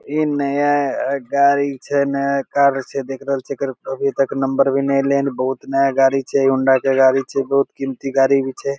इ नया गाड़ी छै नया कार छै देख रहल छी अभी तक एकर नंबर भी ने एले या बहुत नया गाड़ी छै होंडा के गाड़ी छै बहुत कीमती गाड़ी भी छै।